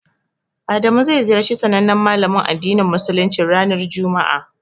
Adamu zai ziyarci sanannen malamin addinin musuluncin ranar juma'a.